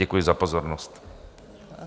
Děkuji za pozornost.